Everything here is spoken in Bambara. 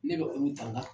Ne bɛ olu ta